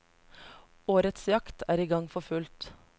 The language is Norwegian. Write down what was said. Årets jakt er i gang for fullt.